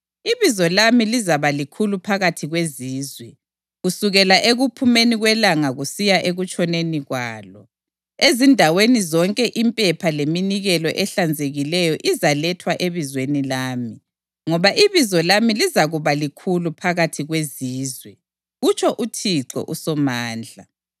Ibizo lami lizaba likhulu phakathi kwezizwe, kusukela ekuphumeni kwelanga kusiya ekutshoneni kwalo. Ezindaweni zonke impepha leminikelo ehlanzekileyo izalethwa ebizweni lami, ngoba ibizo lami lizakuba likhulu phakathi kwezizwe,” kutsho uThixo uSomandla.